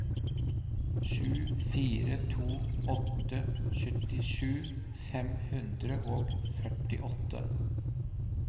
sju fire to åtte syttisju fem hundre og førtiåtte